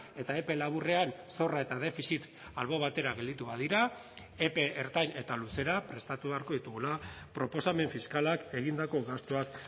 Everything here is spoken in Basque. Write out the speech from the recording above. eta epe laburrean zorra eta defizit albo batera gelditu badira epe ertain eta luzera prestatu beharko ditugula proposamen fiskalak egindako gastuak